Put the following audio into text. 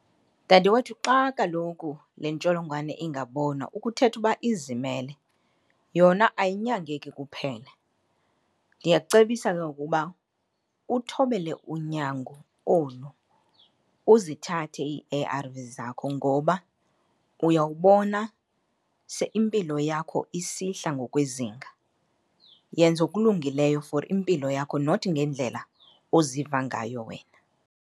Dadewethu, xa kaloku le ntsholongwane ingabonwa ukuthetha uba izimele, yona ayinyangeki kuphele. Ndiyakucebisa ke ngoku uba uthobele unyango olu, uzithathe ii-A_R_Vs zakho ngoba uyawubona se impilo yakho isihla ngokwezinga. Yenza okulungileyo for impilo yakho not ngendlela oziva ngayo wena.